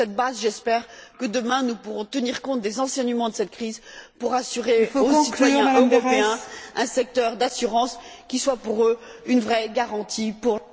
Sur cette base, j'espère que, demain, nous pourrons tenir compte des enseignements de cette crise pour assurer aux citoyens européens un secteur de l'assurance qui soit pour eux une vraie garantie pour...